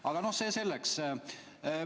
Aga see selleks.